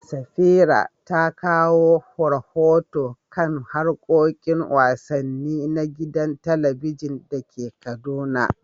Safira ta kawo rahoto kan harkokin wasanni na gidan talabijin da ke Kaduna.